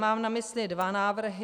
Mám na mysli dva návrhy.